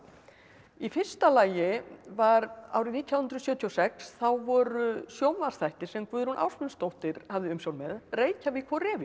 í fyrsta lagi var árið nítján hundruð sjötíu og sex þá voru sjónvarpsþættir sem Guðrún Ásmundsdóttir hafði umsjón með Reykjavík og